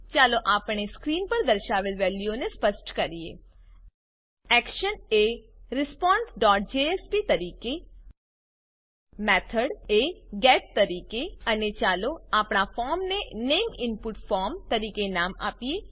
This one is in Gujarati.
ચાલો આપણે સ્ક્રીન પર દર્શાવેલ વેલ્યુઓને સ્પષ્ટ કરીએ એક્શન એ responseજેએસપી તરીકે મેથોડ એ ગેટ તરીકે અને ચાલો આપણા ફોર્મને નામે ઇનપુટ ફોર્મ તરીકે નામ આપીએ